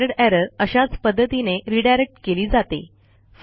standard error अशाच पध्दतीने redirect केली जाते